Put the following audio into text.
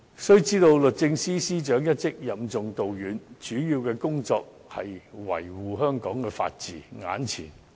須知道，律政司司長一職任重道遠，主要工作應是維護香港法治。